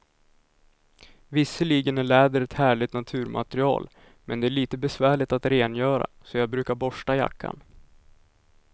Visserligen är läder ett härligt naturmaterial, men det är lite besvärligt att rengöra, så jag brukar borsta jackan.